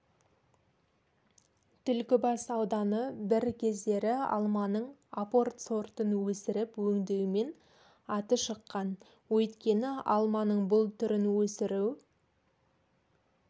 түлкібас ауданы бір кездері алманың апорт сортын өсіріп өңдеумен аты шыққан өйткені алманың бұл түрін өсіру